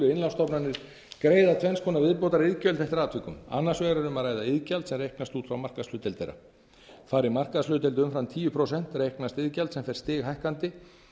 innlánsstofnanir greiða tvenns konar viðbótariðgjöld eftir atvikum annars vegar er um að ræða iðgjald sem reiknast út frá markaðshlutdeild þeirra fari markaðshlutdeild umfram tíu prósent reiknast iðgjald sem fer stighækkandi